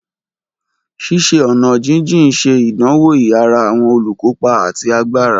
Ṣiṣe-ọna jijin ṣe idanwo iyara awọn olukopa ati agbara.